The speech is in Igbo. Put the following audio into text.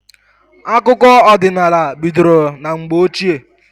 Akụkọ ọdịnala bidoro na mgbe ochie.